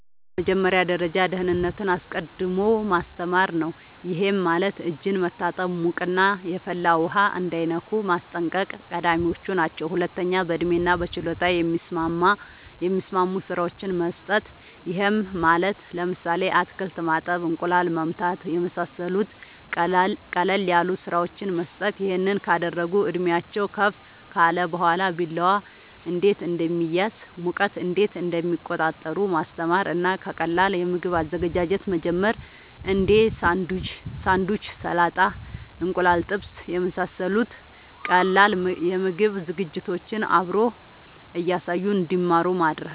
በመጀመሪያ ደረጃ ደህንነትን አስቀድሞ ማስተማር ነዉ ይሄም ማለት እጅን መታጠብ ሙቅና የፈላ ውሃ እንዳይነኩ ማስጠንቀቅ ቀዳሚወች ናቸው ሁለተኛ በእድሜና በችሎታ የሚስማሙ ስራወችን መስጠት ይሄም ማለት ለምሳሌ አትክልት ማጠብ እንቁላል መምታት የመሳሰሉት ቀለል ያሉ ስራወችን መስጠት ይሄን ካደረጉ እድሜአቸውም ከፍ ካለ በኋላ ቢላዋ እንዴት እንደሚያዝ ሙቀት እንዴት እንደሚቆጣጠሩ ማስተማር እና ከቀላል የምግብ አዘገጃጀት መጀመር እንዴ ሳንዱች ሰላጣ እንቁላል ጥብስ የመሳሰሉት ቀላል የምግብ ዝግጅቶችን አብሮ እያሳዩ እንድማሩ ማድረግ